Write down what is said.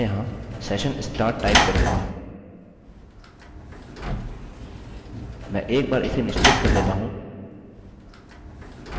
अतः मैं यहाँ session start टाइप करूँगा मैं एक बार इसे निश्चित कर लेता हूँ